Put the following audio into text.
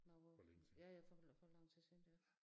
Noget ja ja for for lang tid siden deroppe